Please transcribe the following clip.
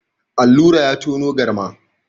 Allura ya tono galma.